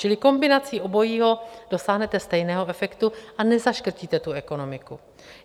Čili kombinací obojího dosáhnete stejného efektu a nezaškrtíte tu ekonomiku.